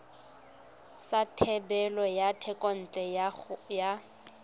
sa thebolo ya thekontle ya